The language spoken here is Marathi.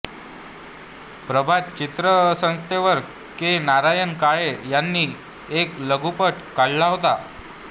प्रभात चित्रसंस्थेवर के नारायण काळे यांनी एक लघुपट काढला होता